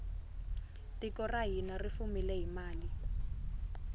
tiko ra hina ri fumile hi mali